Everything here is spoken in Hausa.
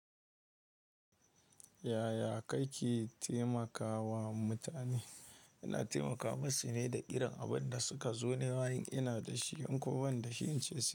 Yaya kake taimakawa mutane? Ina taimaka masu ne da irin abun da suka zo nema in ina da shi in kuma banda shi in ce su.